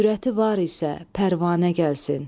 Cürəti var isə pərvanə gəlsin.